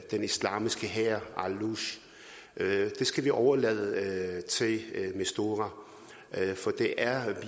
den islamiske hær det skal vi overlade til mistura for det er